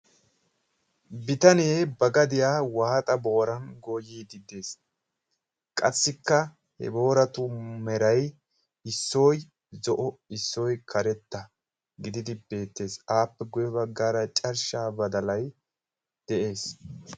Bitanee ba gadiyaa waaxa booran goyiidi de'ees. qassikka he booratu meray issoy zo'o issoy karetta gididi beettees. appe guye baggaara carshshaa badalay de'ees.